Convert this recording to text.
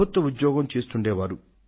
ప్రభుత్యోద్యోగం చేస్తుండే వాడు